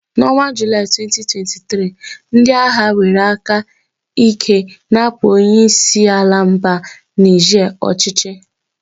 N'ọnwa Julai 2023, ndị agha were aka ike napụ onye isi ala mba Nige ọchịchị.